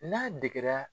N'a degera